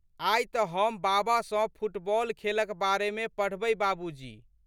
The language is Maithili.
आइ तऽ हम बाबा सँ फुटबॉल खेलक बारेमे पढ़बै बाबूजी!